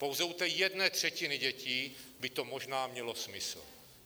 Pouze u té jedné třetiny dětí by to možná mělo smysl.